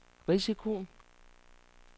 risikoen